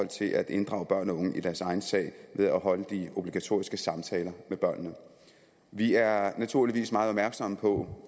til at inddrage børn og unge i deres egen sag ved at holde de obligatoriske samtaler med børnene vi er naturligvis meget opmærksomme på